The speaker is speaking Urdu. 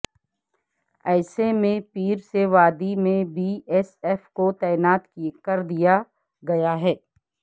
ایسے میں پیر سے وادی میں بی ایس ایف کو تعینات کر دیا گیا ہے